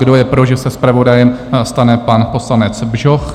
Kdo je pro, že se zpravodajem stane pan poslanec Bžoch?